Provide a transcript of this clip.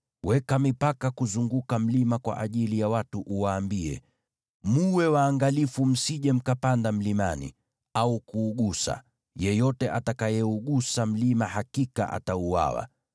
Weka mipaka kuzunguka mlima kwa ajili ya watu, uwaambie, ‘Mwe waangalifu, msije mkapanda mlimani au kuugusa. Yeyote atakayeugusa mlima hakika atauawa.